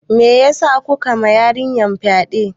Meyasa kuka ma yarinyar fyaɗe?